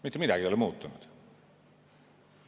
Mitte midagi ei ole muutunud.